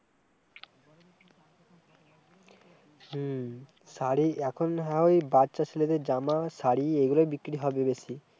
হম শাড়ি, এখন হয় বাচ্চা ছেলেদের জামা, শাড়ি এইগুলই বিক্রি হবে বেশি-